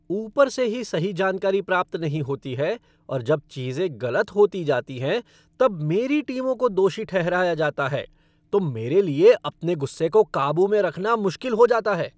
ऊपर से ही सही जानकारी प्राप्त नहीं होती है और जब चीजें गलत होती जाती हैं तब मेरी टीमों को दोषी ठहराया जाता है तो मेरे लिए अपने गुस्से को काबू में रखना मुश्किल हो जाता है।